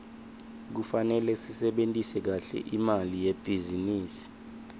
kufanele sisebentise kahle imali yelibhizinisi